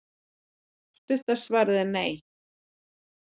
stutta svarið er nei